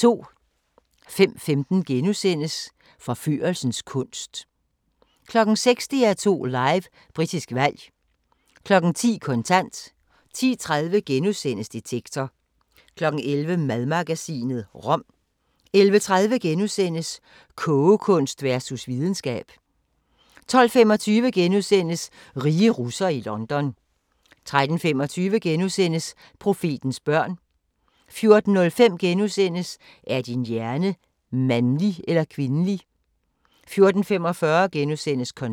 05:15: Forførelsens kunst * 06:00: DR2 Live: Britisk valg 10:00: Kontant 10:30: Detektor * 11:00: Madmagasinet – rom 11:30: Kogekunst versus videnskab * 12:25: Rige russere i London * 13:25: Profetens børn * 14:05: Er din hjerne mandlig eller kvindelig? * 14:45: Kontant *